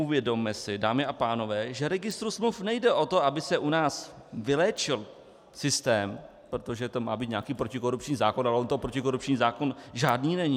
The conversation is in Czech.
Uvědomme si, dámy a pánové, že registru smluv nejde o to, aby se u nás vyléčil systém, protože to má být nějaký protikorupční zákon, ale on to protikorupční zákon žádný není.